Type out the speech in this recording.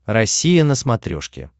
россия на смотрешке